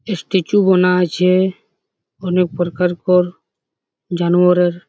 stature বানা আছে অনেক প্রকারকর জানোয়ারের--